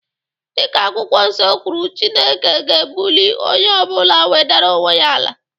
Dịka akwụkwọ nso kwuru, Chineke ga-ebulie onye ọ bụla nwedera onwe ya ala.